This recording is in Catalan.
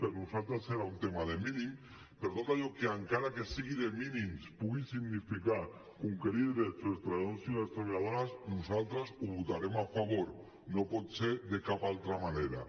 per nosaltres era un tema de mínims però tot allò que encara que sigui de mínims pugui significar conquerir drets per als treballadors i les treballadores nosaltres hi votarem a favor no pot ser de cap altra manera